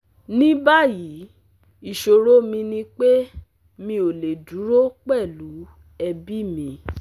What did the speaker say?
Ní báyìí ìṣòro mi ni pé mi ò lè dúró pẹ̀lú ẹbí mi